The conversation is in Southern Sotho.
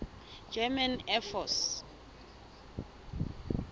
german air force